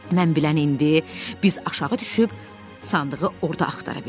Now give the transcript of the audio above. Mən bilən indi biz aşağı düşüb sandığı orda axtara bilərik.